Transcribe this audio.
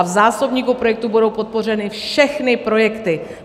A v zásobníku projektů budou podpořeny všechny projekty.